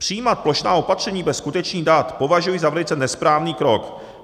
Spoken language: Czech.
Přijímat plošná opatření bez skutečných dat považuji za velice nesprávný krok.